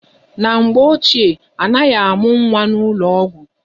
Na mgbe ochie, anaghị amụ nwa n'ụlọ ọgwụ.